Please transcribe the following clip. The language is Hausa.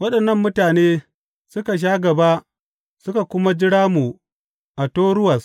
Waɗannan mutane suka sha gaba suka kuma jira mu a Toruwas.